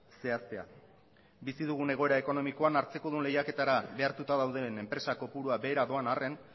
zehaztea bizi dugun egoera ekonomikoan hartzekodun lehiaketara behartuta dauden enpresa kopurua behera doan arren